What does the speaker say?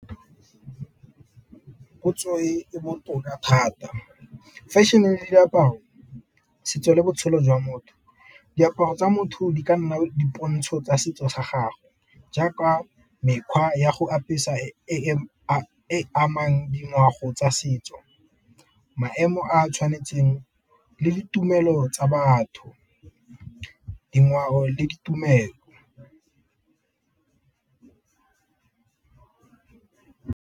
Potso e e botoka thata fashion-e le diaparo, setso le botshelo jwa motho. Diaparo tsa motho di ka nna dipontsho tsa setso sa gagwe, jaaka mekgwa ya go apesa e amang tsa setso, maemo a tshwanetseng le ditumelo tsa batho, dingwao le ditumelo.